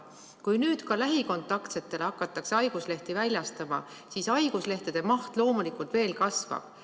Kui nüüd ka lähikontaktsetele hakatakse haiguslehti väljastama, siis haiguslehtede maht loomulikult veel kasvab.